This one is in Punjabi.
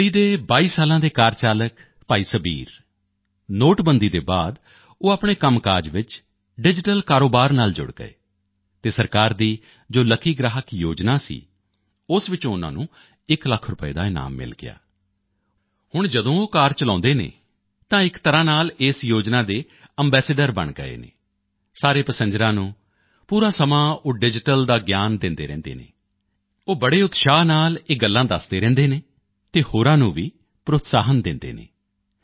ਦਿੱਲੀ ਦੇ 22 ਸਾਲਾਂ ਦੇ ਕਾਰ ਚਾਲਕ ਭਾਈ ਸਬੀਰ ਨੋਟਬੰਦੀ ਦੇ ਬਾਅਦ ਉਹ ਆਪਣੇ ਕੰਮਕਾਜ ਵਿੱਚ ਡਿਜੀਟਲ ਕਾਰੋਬਾਰ ਨਾਲ ਜੁੜ ਗਏ ਅਤੇ ਸਰਕਾਰ ਦੀ ਜੋ ਲੱਕੀ ਗ੍ਰਾਹਕ ਯੋਜਨਾ ਸੀ ਉਸ ਵਿੱਚੋਂ ਉਨ੍ਹਾਂ ਨੂੰ ਇਕ ਲੱਖ ਰੁਪਏ ਦਾ ਇਨਾਮ ਮਿਲ ਗਿਆ ਹੁਣ ਜਦੋਂ ਉਹ ਕਾਰ ਚਲਾਉਂਦੇ ਹਨ ਤਾਂ ਇਕ ਤਰ੍ਹਾਂ ਨਾਲ ਇਸ ਯੋਜਨਾ ਦੇ ਅੰਬੈਸਡਰ ਬਣ ਗਏ ਹਨ ਸਾਰੇ ਪਸਿੰਜਰਾਂ ਨੂੰ ਪੂਰਾ ਸਮਾਂ ਉਹ ਡਿਜੀਟਲ ਦਾ ਗਿਆਨ ਦਿੰਦੇ ਰਹਿੰਦੇ ਹਨ ਉਹ ਬੜੇ ਉਤਸ਼ਾਹ ਨਾਲ ਇਹ ਗੱਲਾਂ ਦੱਸਦੇ ਰਹਿੰਦੇ ਨੇ ਤੇ ਹੋਰਾਂ ਨੂੰ ਵੀ ਪ੍ਰੋਤਸਾਹਨ ਦਿੰਦੇ ਨੇ